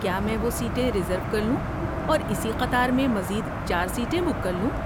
کیا میں وہ سیٹیں ریزرو کر لوں اور اسی قطار میں مزید چار سیٹیں بک کرلوں؟